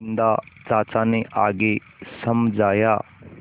बिन्दा चाचा ने आगे समझाया